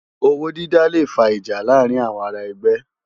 Ôwó dìdá lé fá ijá làárin áwòn àrá ègbè